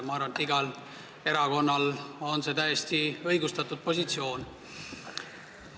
Ma arvan, et see on täiesti õigustatud positsioon iga erakonna puhul.